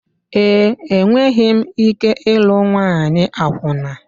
Ee, enweghị m ike ịlụ nwanyị akwụna.